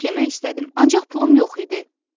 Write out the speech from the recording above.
Tort yemək istədim, ancaq pulum yox idi.